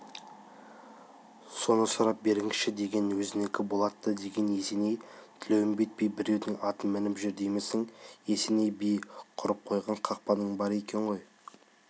соны сұрап беріңізші деген өзінікі болат та деген есеней тілеуімбет би біреудің атын мініп жүр деймісің есеней би құрып қойған қақпаның бар екен ғой